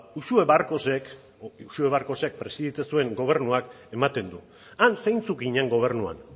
uxue barkosek edo uxue barkosek presidente zuen gobernuak ematen du han zeintzuk ginen gobernuan